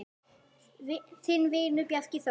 Þinn vinur, Bjarki Þór.